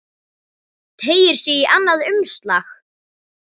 Teygir sig í annað umslag.